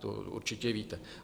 To určitě víte.